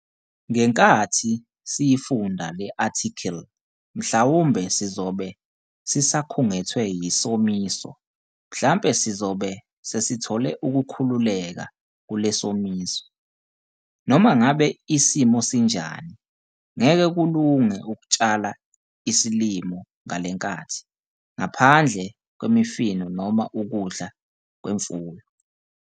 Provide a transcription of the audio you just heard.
Ngenkathi siyifunda le athikhili mhlawumbe sizobe sisakhungethwe yisomiso mhlampe sizobe sesithole ukukhululeka kule somiso. Noma ngabe isimo sinjani, ngeke kulunge ukutshala isilimo ngalenkathi, ngaphandle kwemifino noma ukudla kwemfuyo.